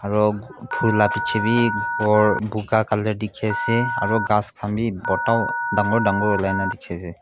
aru phool laga piche bhi gour boga colour dekhi ase aru gass khan bota dagur dagur ulai na dekhi ase.